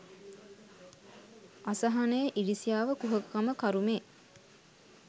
අසහනය ඉරිසියාව කුහකකම කරුමේ